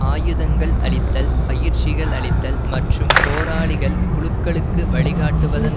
ஆயுதங்கள் அளித்தல் பயிற்சிகள் அளித்தல் மற்றும் போராளிகள் குழுக்களுக்கு வழிகாட்டுவதன்